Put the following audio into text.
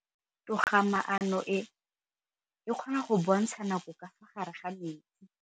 Toga-maanô e, e kgona go bontsha nakô ka fa gare ga metsi.